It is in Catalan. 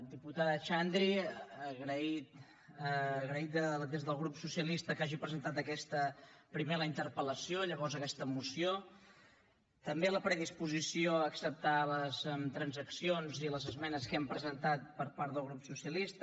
diputada xandri agraït des del grup socialista que hagi presentat primer la interpel·lació llavors aquesta moció també la predisposició a acceptar les transaccions i les esmenes que hem presentat per part del grup socialista